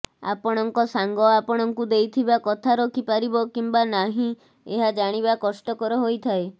ଆପଣଙ୍କ ସାଙ୍ଗ ଆପଣଙ୍କୁ ଦେଇଥିବା କଥା ରଖି ପାରିବ କିମ୍ୱା ନାହିଁ ଏହା ଜାଣିବା କଷ୍ଟକର ହୋଇଥାଏ